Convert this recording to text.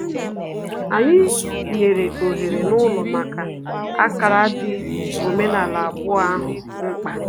Anyị nyere ohere n'ụlọ maka ákárá dị omenaala abụọ ahụ mkpa